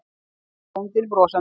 sagði bóndinn brosandi.